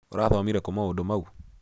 ũrathomire kũ maũndũ mau?